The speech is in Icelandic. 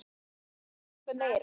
Ekki síður og jafnvel meira.